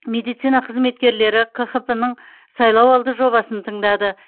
медицина қызметкерлері қхп ның сайлауалды жобасын тыңдады